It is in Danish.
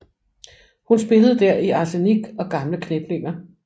Hun spillede der i Arsenik og gamle kniplinger